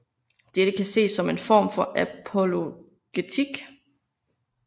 Dette kan ses som en form for apologetik